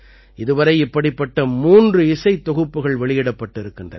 இதுவரை இப்படிப்பட்ட மூன்று இசைத் தொகுப்புகள் வெளியிடப்பட்டிருக்கின்றன